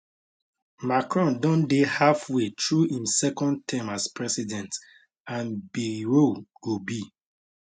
macron don dey halfway through im second term as president and bayrou go be